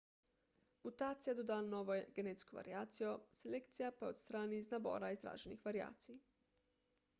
mutacija doda novo genetsko variacijo selekcija pa jo odstrani iz nabora izraženih variacij